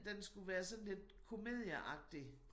Den skulle være sådan lidt komedieagtig